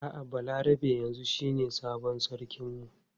A'a Balarabe yanzu shine sabon sarkin mu.